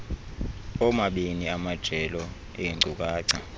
oomabini amajelo eenkcukacha